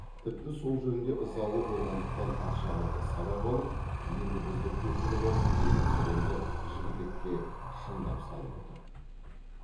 тіпті сол жөнде ызалы болғандықтан атшабарды сабап алып енді бізді көшіріп алсын деген сәлемді жігітекке шындап салып отыр